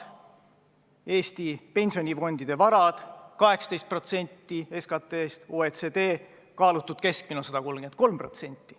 Eesti pensionifondide varad moodustavad võrreldes SKT-ga 18%, OECD kaalutud keskmine on 133%.